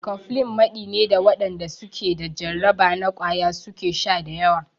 Cofflin maɗi ne da waɗanda su ke da jarraba na ƙwaya su ke sha da yawa.